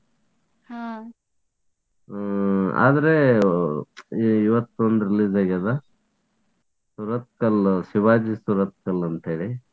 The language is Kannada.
ಹೊಸದು ಆದ್ರೆ ಇವತ್ ಒಂದ್ release ಆಗ್ಯದ. ಸುರತ್ಕಲ್ ಶಿವಾಜಿ ಸುರತ್ಕಲ್ ಅಂತೇಳಿ.